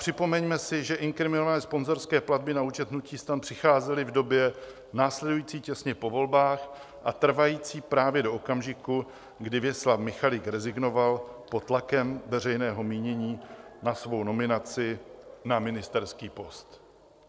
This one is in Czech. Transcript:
Připomeňme si, že inkriminované sponzorské platby na účet hnutí STAN přicházely v době následující těsně po volbách a trvající právě do okamžiku, kdy Věslav Michalik rezignoval pod tlakem veřejného mínění na svou nominaci na ministerský post.